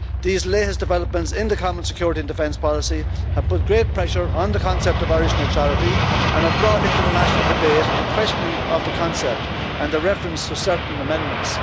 These latest developments in the common security and defence policy have put great pressure on the concept of Irish neutrality and have brought into the national debate the questioning of the concept and the reference to certain amendments.